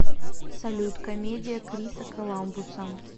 салют комедия криса коламбуса